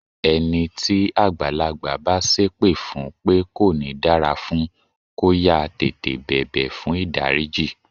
Ẹni tí àgbàlagbà bá sépè fún pé kò ní dára fún, kó yáá tètè bẹ̀bẹ̀ fùn ìdáríjì.